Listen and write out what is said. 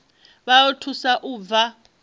vha o thusa u bva